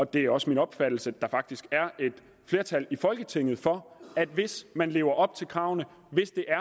det er også min opfattelse at der faktisk er et flertal i folketinget for at hvis man lever op til kravene